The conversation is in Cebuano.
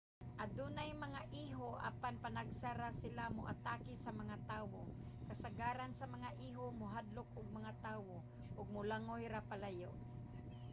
adunay mga iho apan panagsa ra sila moatake sa mga tawo. kasagaran sa mga iho mahadlok og mga tawo ug molangoy ra palayo